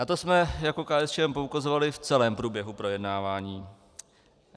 Na to jsme, jako KSČ poukazovali v celém průběhu projednávání.